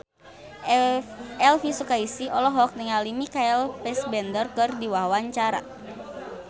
Elvi Sukaesih olohok ningali Michael Fassbender keur diwawancara